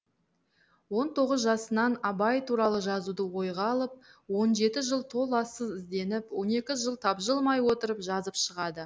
он тоғыз жасынан абай туралы жазуды ойға алып он жеті жыл толассыз ізденіп он екі жыл тапжылмай отырып жазып шығады